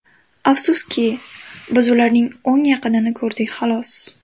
Afsuski, biz ularning o‘nga yaqinini ko‘rdik xalos.